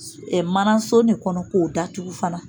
Ɛ manaso ni kɔnɔ k'o datugu fana